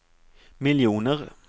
miljoner